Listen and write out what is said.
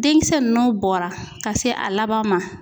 Denkisɛ n'o bɔra ka se a laban ma.